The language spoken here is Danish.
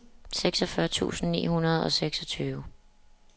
seksogfyrre tusind ni hundrede og seksogtyve